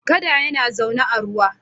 Kada yana zaune a ruwa.